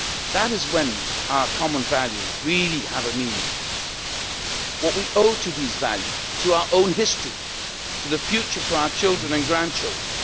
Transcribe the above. That is when our common values really have a meaning what we owe to these values, to our own history, to the future for our children and grandchildren.